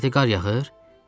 Nədi qar yağır?